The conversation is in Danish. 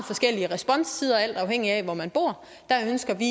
forskellige responstider alt afhængig af hvor man bor der ønsker vi